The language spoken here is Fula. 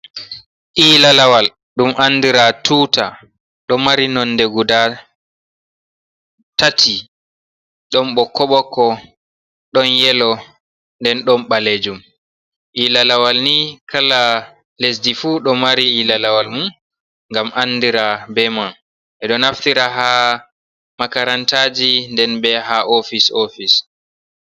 Ila-lawal dum andira tuta do mari nonde guda tati don bo koboko don yelo nden dom balejum. ilalawal ni kala lesdi fu do mari ila lawal mum gam andira be mam e do naftira ha makarantaji nden be ha ofise ofise.